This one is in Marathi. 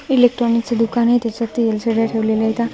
इलेक्ट्रॉनिकच दुकान आहे त्याच्यात एल_सी_डी ठेवलेल्या आहेत.